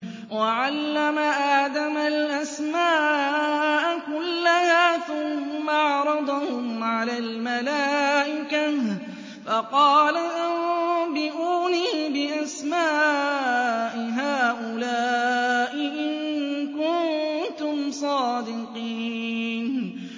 وَعَلَّمَ آدَمَ الْأَسْمَاءَ كُلَّهَا ثُمَّ عَرَضَهُمْ عَلَى الْمَلَائِكَةِ فَقَالَ أَنبِئُونِي بِأَسْمَاءِ هَٰؤُلَاءِ إِن كُنتُمْ صَادِقِينَ